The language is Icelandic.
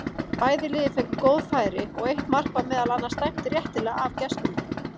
Bæði lið fengu góð færi og eitt mark var meðal annars dæmt réttilega af gestunum.